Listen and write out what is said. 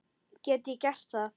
Get ég gert það?